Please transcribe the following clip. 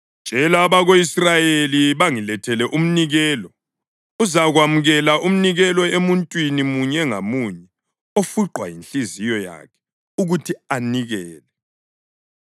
“Tshela abako-Israyeli bangilethele umnikelo. Uzakwamukela umnikelo emuntwini munye ngamunye ofuqwa yinhliziyo yakhe ukuthi anikele.